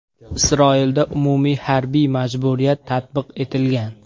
Isroilda umumiy harbiy majburiyat tatbiq etilgan.